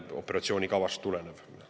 Toomas Järveoja, palun!